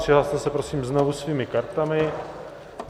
Přihlaste se prosím znovu svými kartami.